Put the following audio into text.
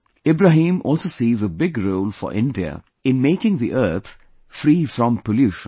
Ibrahim also sees a big role for India in making the earth free from pollution